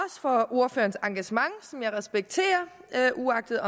for ordførerens engagement som jeg respekterer uagtet